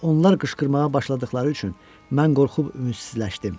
Məhz onlar qışqırmağa başladıqları üçün mən qorxub ümidsizləşdim.